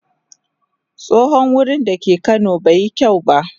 Tsohon wurin da ke kano bai yi kyau ba.